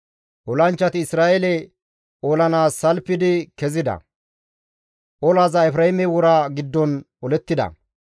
Olanchchati Isra7eele olanaas salfidi kezida; olaza Efreeme wora giddon olettida.